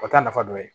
O t'a nafa dɔ ye